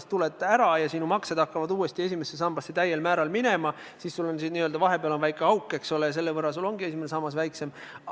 Kui sa teisest sambast ära tuled ja sinu maksed hakkavad täiel määral uuesti esimesse sambasse minema, siis tekkis sul esimesse sambasse vahepeal n-ö väike auk, eks ole, ja selle võrra ongi sinu esimene sammas väiksem.